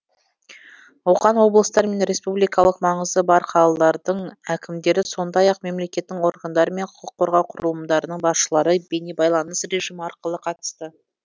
оған облыстар мен республикалық маңызы бар қалалардың әкімдері сондай ақ мемлекеттің органдар мен құқық қорғау құрылымдарының басшылары бейнебайланыс режимі арқылы қатысты